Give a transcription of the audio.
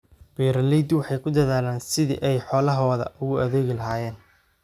Beeraleydu waxay ku dadaalaan sidii ay xoolahooda ugu adeegi lahaayeen.